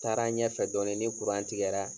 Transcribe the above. Taara ɲɛfɛ dɔɔnin ni tigɛra